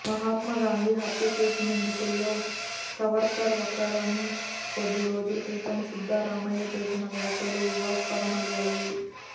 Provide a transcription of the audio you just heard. మహాత్మా గాంధీ హత్య కేసు నిందితుల్లో సావర్కర్ ఒకరని కొద్ది రోజుల క్రితం సిద్ధరామయ్య చేసిన వ్యాఖ్యలు వివాదాస్పదం అయ్యాయి